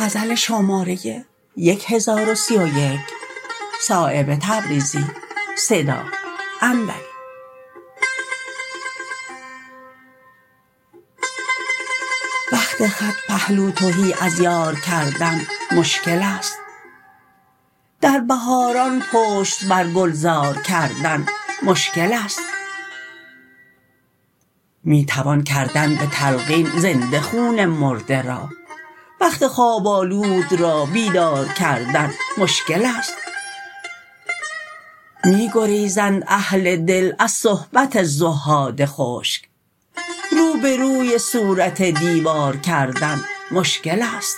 وقت خط پهلو تهی از یار کردن مشکل است در بهاران پشت بر گلزار کردن مشکل است می توان کردن به تلقین زنده خون مرده را بخت خواب آلود را بیدار کردن مشکل است می گریزند اهل دل از صحبت زهاد خشک رو به روی صورت دیوار کردن مشکل است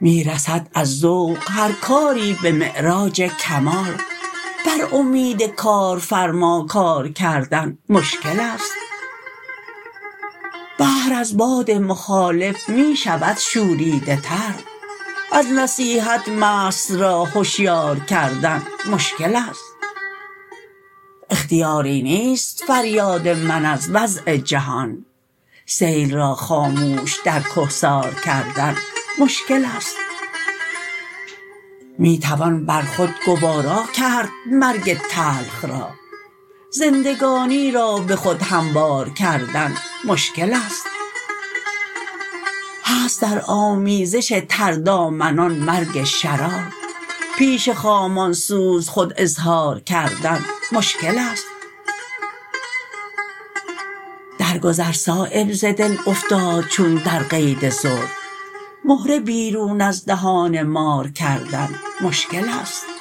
می رسد از ذوق هر کاری به معراج کمال بر امید کارفرما کار کردن مشکل است بحر از باد مخالف می شود شوریده تر از نصیحت مست را هشیار کردن مشکل است اختیاری نیست فریاد من از وضع جهان سیل را خاموش در کهسار کردن مشکل است می توان بر خود گوارا کرد مرگ تلخ را زندگانی را به خود هموار کردن مشکل است هست در آمیزش تردامنان مرگ شرار پیش خامان سوز خود اظهار کردن مشکل است در گذر صایب ز دل افتاد چون در قید زلف مهره بیرون از دهان مار کردن مشکل است